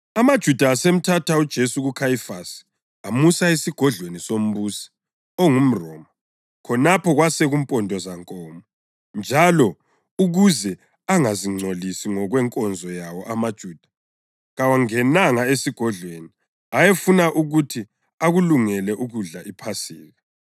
AmaJuda asemthatha uJesu kuKhayifasi amusa esigodlweni sombusi ongumRoma. Khonapho kwasekusempondozankomo njalo ukuze angazingcolisi ngokwenkonzo yawo amaJuda kawangenanga esigodlweni; ayefuna ukuthi akulungele ukudla iPhasika.